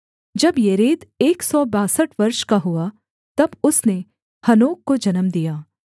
जब येरेद एक सौ बासठ वर्ष का हुआ तब उसने हनोक को जन्म दिया